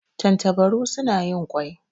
Tantabaru suna yin ƙwai.